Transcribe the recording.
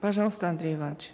пожалуйста андрей иванович